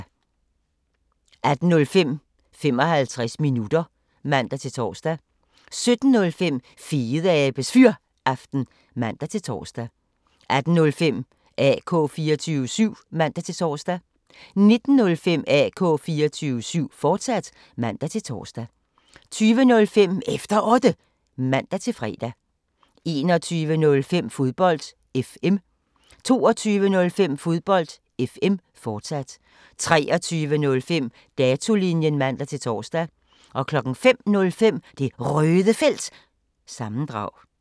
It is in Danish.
16:05: 55 minutter (man-tor) 17:05: Fedeabes Fyraften (man-tor) 18:05: AK 24syv (man-tor) 19:05: AK 24syv, fortsat (man-tor) 20:05: Efter Otte (man-fre) 21:05: Fodbold FM 22:05: Fodbold FM, fortsat 23:05: Datolinjen (man-tor) 05:05: Det Røde Felt – sammendrag